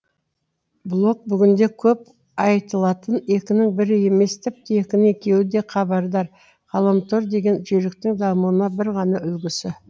блог бүгінде көп айтылатын екінің бірі емес тіпті екінің екеуі де хабардар ғаламтор деген жүйріктің дамуына бір ғана үлгісі